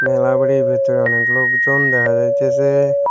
মেলার বাড়ির ভেতরে অনেক লোকজন দেখা যাইতেসে।